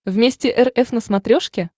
вместе эр эф на смотрешке